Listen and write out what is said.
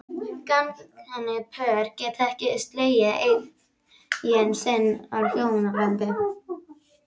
Gagnkynhneigð pör geta ekki slegið eign sinni á hjónabandið.